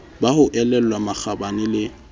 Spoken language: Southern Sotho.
ba ho elellwa makgabane le